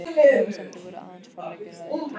Efasemdir voru aðeins forleikur að uppgjöf.